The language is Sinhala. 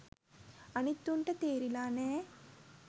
අනිත් උන්ට තේරිලා නෑ